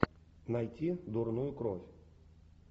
найти дурную кровь